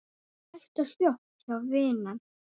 Hægt og hljótt, já vinan.